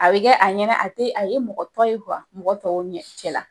A bɛ kɛ a ɲɛna a tɛ a ye mɔgɔ tɔ ye kuwa mɔgɔ tɔw ɲɛ cɛla.